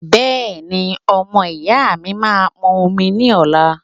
Bẹ́ẹ̀ni, ọmọ ìyá mi máa pọn omi ní ọla